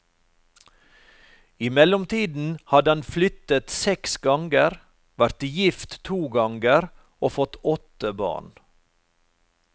I mellomtiden hadde han flyttet seks ganger, vært gift to ganger og fått åtte barn.